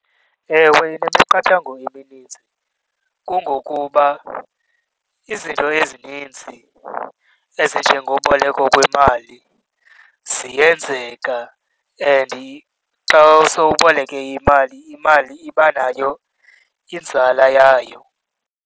Ewe, inemiqathango emininzi. Kungokuba izinto ezininzi ezinjengoboleko kwemali ziyenzeka and xa sowuboleke imali, imali iba nayo inzala yayo.